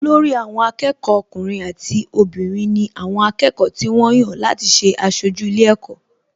Olórí àwọn akẹ́kọ̀ọ́ ọkùnrin àti obìnrin ni àwọn akẹ́kọ̀ọ́ tí wọ́n yàn láti ṣe aṣojú ilé ẹ̀kọ́